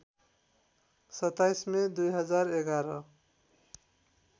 २७ May २०११